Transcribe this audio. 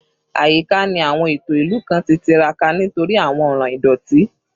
Ayika ni awọn eto ilu kan ti tiraka nitori awọn ọran idoti